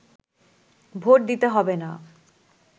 vote দিতে হবে না